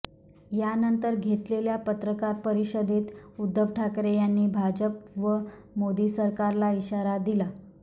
यानंतर घेतलेल्या पत्रकार परिषदेत उद्धव ठाकरे यांनी भाजप व मोदी सरकारला इशारा दिला